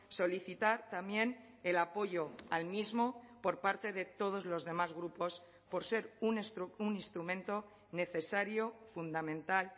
solicitar también el apoyo al mismo por parte de todos los demás grupos por ser un instrumento necesario fundamental